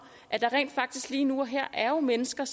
at der rent faktisk lige nu og her er mennesker